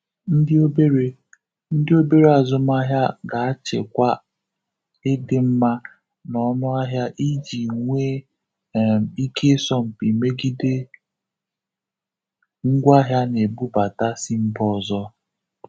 Ndị obere Ndị obere azụmahịa ga-achịkwa ịdịmma na ọnụahịa iji nwee um ike ịsọ mpị megide ngwaahịa a na-ebubata si mba ọzọ. um